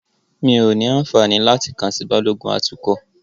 Mí ó ní àǹfààní láti kàn sí Balógun atukọ̀.